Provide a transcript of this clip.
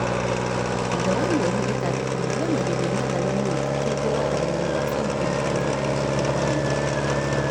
Thutha wa mĩeri ĩtandatũ mathamagĩrio natharĩinĩ ĩngĩ na kwĩiguo waramuĩni wa centimita mĩrongo ĩtatũ gwa mĩrongo .